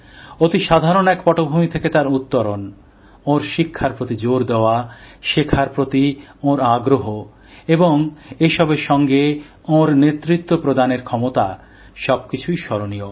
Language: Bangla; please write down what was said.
অতিসাধারণ এক পটভূমি থেকে তাঁর উত্তরণ ওঁর শিক্ষার প্রতি জোর দেওয়া শেখার প্রতি ওঁর আগ্রহ এবং এসবের সাথে ওঁর নেতৃত্ব প্রদানের ক্ষমতা সবকিছুই স্মরণীয়